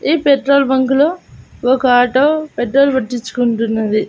ఈ petrol bunk లో ఒక ఆటో పెట్రోల్ పట్టించుకుంటున్నది.